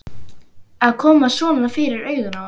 Að koma svona fyrir augun á henni.